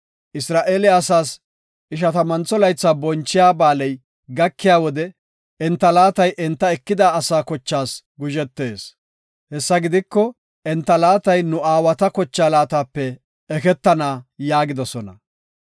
Isra7eele asaas Ishatamantho Laytha bonchiya ba7aaley gakiya wode enta laatay enta ekida asaa kochaas guzhetees; hessa gidiko enta laatay nu aawata kochaa laatape eketana” yaagidosona.